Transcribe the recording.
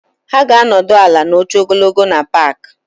Ha ga-anọdụ ala na oche ogologo na paaki.